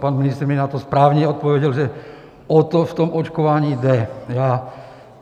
Pan ministr mi na to správně odpověděl, že o to v tom očkování jde.